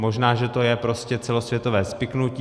Možná že to je prostě celosvětové spiknutí.